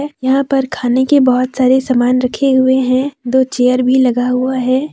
यहां पर खाने के बहुत सारे सामान रखे हुए है दो चेयर भी लगा हुआ है।